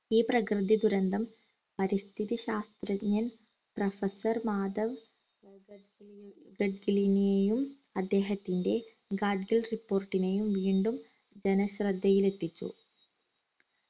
ഈ പ്രകൃതി ദുരന്തം പരിസ്ഥിതി ശാസ്ത്രജ്ഞൻ professor മാധവ് ഫ്രഡ്‌ലിൻ നെയും അദ്ദേഹത്തിന്റെ ഗാഡ്ഗിൽ report നെയും വീണ്ടും ജനശ്രദ്ധയിലെത്തിച്ചു